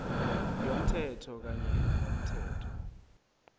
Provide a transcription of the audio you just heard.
yomthetho kanye nomthetho